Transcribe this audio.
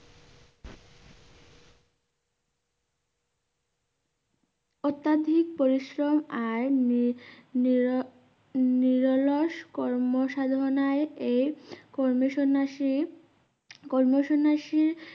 অত্যাদিক পরিশ্রম আর নি~নির~নিরোলাস কর্মসাধনায় এই কর্মসন্নাসী কর্মসন্নাসীর